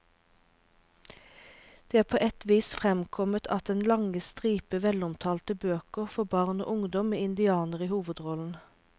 Det er på et vis fremkommet av den lange stripe velomtalte bøker for barn og ungdom med indianere i hovedrollen.